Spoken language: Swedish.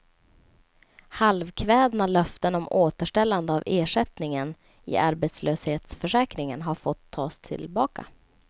Halvkvädna löften om återställande av ersättningen i arbetslöshetsförsäkringen har fått tas tillbaka.